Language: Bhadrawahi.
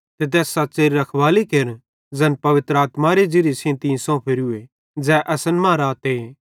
ते तैस सच़्च़ेरी रखवाली केर ज़ैन पवित्र आत्मारे ज़िरिये सेइं तीं सोंफेरू ज़ै असन मां रहते